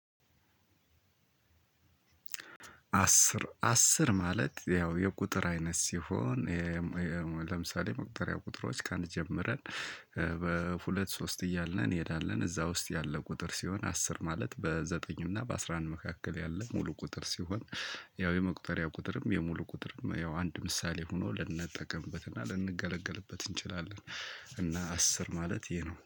አስር አስር ማለት ያው የቁጥር አይነት ሲሆን- ለምሳሌ መቁጠሪያ ቁጥሮች ከአንድ ጀምረን ሁለት ሶስት እያልን እንሄዳለን። እዛ ውስጥ ያለ ቁጥር ሲሆን አስር ማለት በዘጠኝ እና በአስራ አንድ መካከል ያለ ሙሉ ቁጥር ሲሆን- ያው የመቁጠሪያ ቁጥርም የሙሉ ቁጥርም ያው አንድ ምሳሌ ሆኖ ልንጠቀምበትና ልንገለገልበት እንችላለን። እና አስር ማለት ይሄ ነው።